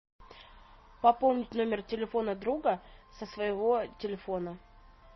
пополнить номер телефона друга со своего телефона